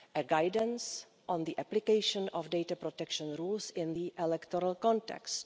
guidance on the application of data protection rules in the electoral context